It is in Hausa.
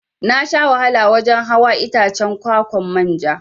Nasha wahala wajan hawa Itacen kwa-kwan manja.